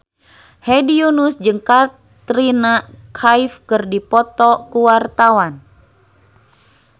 Hedi Yunus jeung Katrina Kaif keur dipoto ku wartawan